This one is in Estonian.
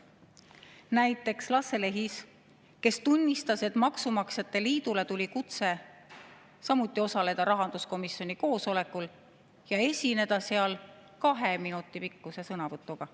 Näiteks Lasse Lehis, kes tunnistas, et maksumaksjate liidule tuli kutse samuti osaleda rahanduskomisjoni koosolekul ja esineda seal kahe minuti pikkuse sõnavõtuga.